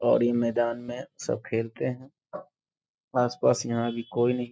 और ई मैदान में सब खेलते हैं । आस-पास यहाँ अभी कोई नहीं --